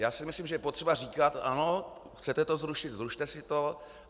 Já si myslím, že je potřeba říkat: Ano, chcete to zrušit, zrušte si to.